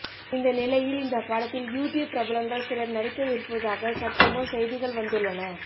இந்த நிலையில் இந்த படத்தில் யூடியூப் பிரபலங்கள் சிலர்நடிக்கவிருப்பதாக சற்றுமுன் செய்திகள் வந்துள்ளன